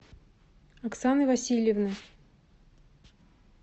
оксаны васильевны